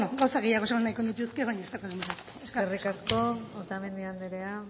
gauza gehiago esan nahiko nituzke baina ez daukat denborarik eskerrik asko otamendi anderea